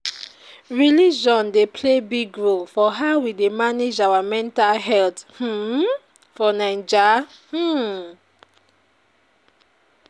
Religion dey play big role for how we dey manage our mental health um for Naija. um